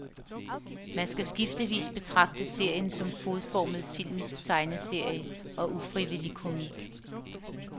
Man skal skiftevis betragte serien som fodformet filmisk tegneserie og ufrivillig komik.